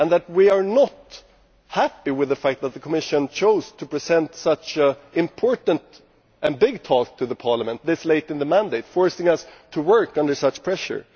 We are not happy with the fact that the Commission then chose to present such an important and big task to the Parliament this late in the mandate, forcing us to work under such pressure.